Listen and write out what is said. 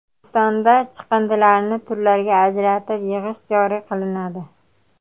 O‘zbekistonda chiqindilarni turlarga ajratib yig‘ish joriy qilinadi.